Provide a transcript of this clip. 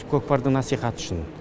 көкпардың насихаты үшін